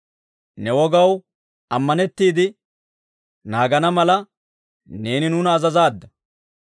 Ne wogaw ammanettiide naagana mala, neeni nuuna azazaadda.